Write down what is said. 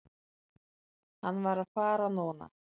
Hann varð að fara núna.